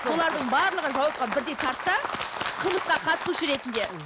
солардың барлығын жауапқа бірдей тартса қылмысқа қатысушы ретінде